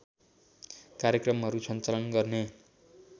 कार्यक्रमहरू सञ्चालन गर्ने